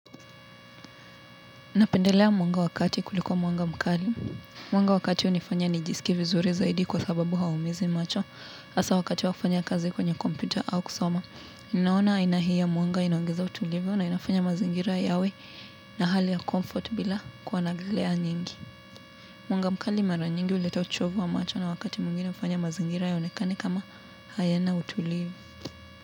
Napendelea mwanga wa kati kuliko mwanga mkali. Mwanga wa kati hunifanya nijisikie vizuri zaidi kwa sababu hauumizi macho. Hasa wakati wa kufanya kazi kwenye komputa au kusoma. Ninaona aina hii ya mwanga inaongeza utulivu na inafanya mazingira yawe na hali ya comfort bila kuwa na glare nyingi. Mwanga mkali mara nyingi huleta uchovu wa macho na wakati mwingine hufanya mazingira yaonekane kama hayana utulivu.